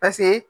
Paseke